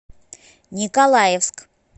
николаевск